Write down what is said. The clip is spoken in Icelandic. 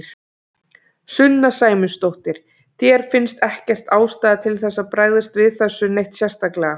Sunna Sæmundsdóttir: Þér finnst ekkert ástæða til þess að bregðast við þessu neitt sérstaklega?